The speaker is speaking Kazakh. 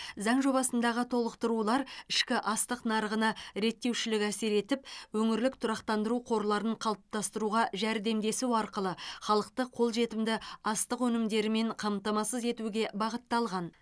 заң жобасындағы толықтырулар ішкі астық нарығына реттеушілік әсер етіп өңірлік тұрақтандыру қорларын қалыптастыруға жәрдемдесу арқылы халықты қолжетімді астық өнімдерімен қамтамасыз етуге бағытталған